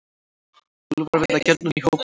Úlfar veiða gjarnan í hópum.